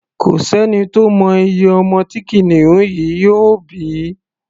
Kò sẹ́ni tó mọ iye ọmọ tí kìnìún yìí yóò bí.